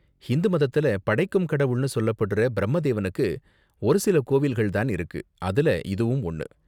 ஹிந்து மதத்துல படைக்கும் கடவுள்னு சொல்லப்படுற பிரம்ம தேவனுக்கு ஒரு சில கோவில்கள் தான் இருக்கு, அதுல இதுவும் ஒன்னு.